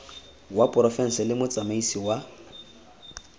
wa porofense le motsamaisi wa